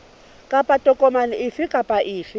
kapa tokomane efe kapa efe